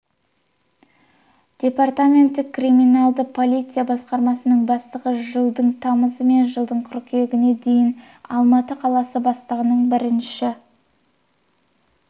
департаменті криминалдық полиция басқармасының бастығы жылдың тамызы мен жылдың қыркүйегіне дейін алматы қаласы бастығының бірінші